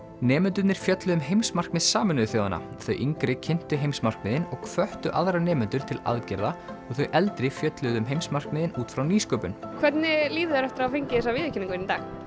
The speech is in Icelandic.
nemendurnir fjölluðu um heimsmarkmið Sameinuðu þjóðanna þau yngri kynntu heimsmarkmiðin og hvöttu aðra nemendur til aðgerða og þau eldri fjölluðu um heimsmarkmiðin út frá nýsköpun hvernig líður þér eftir að hafa fengið þessa viðurkenningu